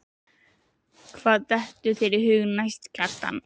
Hvað dettur þér í hug næst, Kjartan?